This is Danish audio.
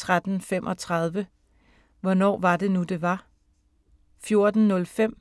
13:35: Hvornår var det nu, det var? 14:05: